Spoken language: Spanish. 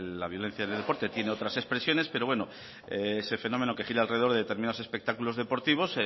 la violencia en el deporte tiene otras expresiones pero bueno ese fenómeno que gira alrededor de determinados espectáculos deportivos